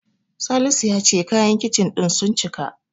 Salisu ya ce kayan Kicin ɗin sun cika.